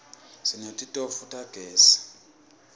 sineti tofu tagezi